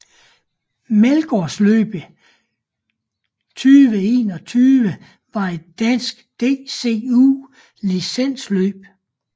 Meldgaardløbet 2021 var et dansk DCU licensløb